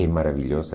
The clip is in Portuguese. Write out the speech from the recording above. É maravilhosa.